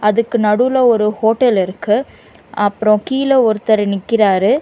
அதுக்கு நடுவுல ஒரு ஹோட்டல் இருக்கு அப்றோ கீழ ஒருத்தர் நிக்கிறாரு.